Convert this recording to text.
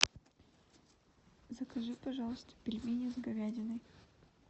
закажи пожалуйста пельмени с говядиной